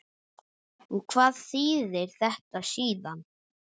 Og hvað þýðir þetta síðan?